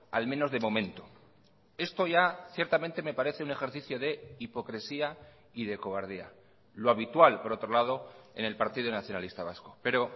al menos de momento esto ya ciertamente me parece un ejercicio de hipocresía y de cobardía lo habitual por otro lado en el partido nacionalista vasco pero